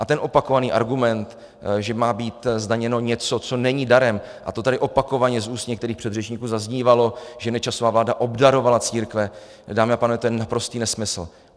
A ten opakovaný argument, že má být zdaněno něco, co není darem, a to tady opakovaně z úst některých předřečníků zaznívalo, že Nečasova vláda obdarovala církve, dámy a pánové, to je naprostý nesmysl.